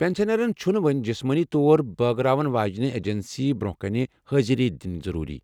پٮ۪نشنرن چُھنہٕ وۄنۍ جِسمٲنی طور بٲگراون واجنہِ ایجنسی برونہہ كٕنہِ حٲضِر دِنۍ ضروری ۔